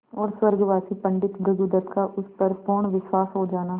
और स्वर्गवासी पंडित भृगुदत्त का उस पर पूर्ण विश्वास हो जाना